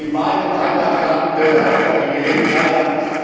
Und in meinem Heimatland hatte ich am